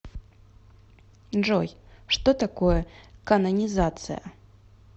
джой что такое канонизация